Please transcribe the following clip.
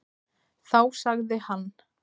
Þá sagði hann: